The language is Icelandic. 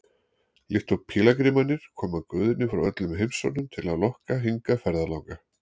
Líkt og pílagrímarnir koma guðirnir frá öllum heimshornum til að lokka hingað ferðalanga.